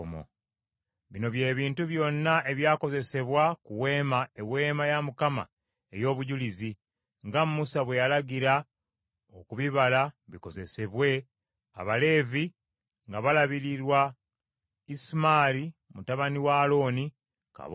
Bino bye bintu byonna ebyakozesebwa ku Weema, Eweema ya Mukama ey’Obujulizi, nga Musa bwe yalagira okubibala bikozesebwe Abaleevi nga balabirirwa Isamaali mutabani wa Alooni kabona.